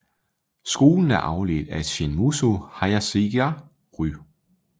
Skolen er afledt af Shin Muso Hayashizaki Ryu